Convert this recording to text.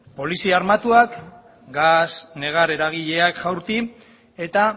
polizia armatuak gas negar eragileak jaurti eta